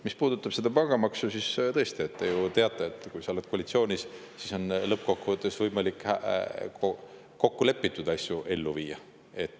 Mis puudutab pangamaksu, siis tõesti, te ju teate, et kui sa oled koalitsioonis, siis on lõppkokkuvõttes võimalik ellu viia kokku lepitud asju.